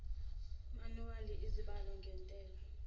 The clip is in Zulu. manuwali izibalo ngentela